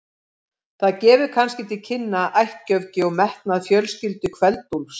Það gefur kannski til kynna ættgöfgi og metnað fjölskyldu Kveld-Úlfs.